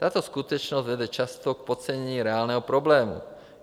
Tato skutečnost vede často k podcenění reálného problému.